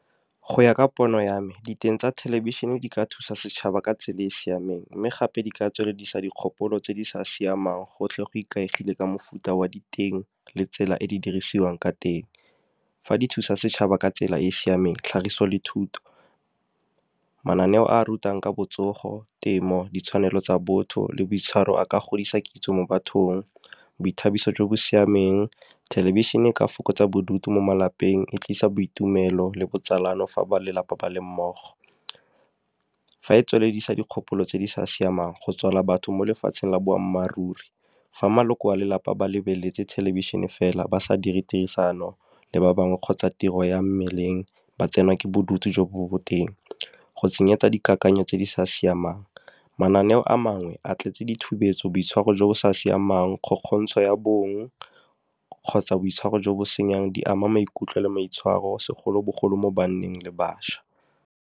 Go ya ka pono ya me, diteng tsa thelebišhene di ka thusa setšhaba ka tsela e siameng, mme gape di ka tsweledisa dikgopolo tse di sa siamang gotlhe go ikaegile ka mofuta wa diteng, le tsela e di dirisiwang ka teng. Fa di thusa setšhaba ka tsela e e siameng, tlhagiso le thuto mananeo a rutang ka botsogo, temo, ditshwanelo tsa botho, le boitshwaro. A ka godisa kitso mo bathong, boithabiso jo bo siameng. Thelebišhene e ka fokotsa bodutu mo malapeng, e tlisa boitumelo, le botsalano fa ba lelapa ba le mmogo. Fa e tsweleledisa dikgopolo tse di sa siamang go tswala batho mo lefatsheng la boammaaruri, fa maloko a lelapa ba lebeletse thelebišhene fela, ba sa dire tirisano le ba bangwe kgotsa tiro ya mmeleng ba tsenwa ke bodutu jo bo boteng, go tsenyetsa dikakanyo tse di sa siamang. Mananeo a mangwe a tletse ditshupetso, boitshwaro jo bo sa siamang, kgokgontsho ya bong, kgotsa boitshwaro jo bo senyang. Di ama maikutlo le maitshwaro segolobogolo mo banneng le bašwa.